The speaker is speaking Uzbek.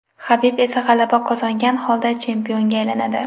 Habib esa g‘alaba qozongan holda chempionga aylanadi.